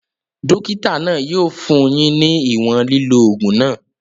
Dókítà náà yóò fún yín ní ìwòn lílò ògùn náà